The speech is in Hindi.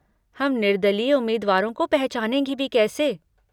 हम निर्दलीय उम्मीदवारों को पहचानेंगे भी कैसे?